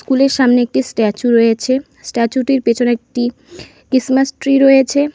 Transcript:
কুলের সামনে একটি স্ট্যাচু রয়েছে স্ট্যাচুটির পেছনে একটি কিসমাস ট্রি রয়েছে।